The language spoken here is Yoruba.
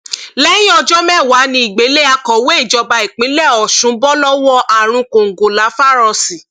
lẹyìn ọjọ mẹwàá nìgbélé akọwé ìjọba ìpínlẹ ọsùn bọ lọwọ àrùn kòǹgóláfàírọọsì